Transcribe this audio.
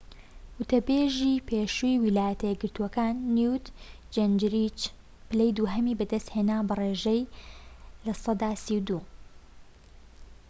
وتەبێژی پێشووی ویلایەتە یەکگرتووەکان نیوت جینجریچ پلەی دووهەمی بەدەستهێنا بە ڕێژەی سەدا ٣٢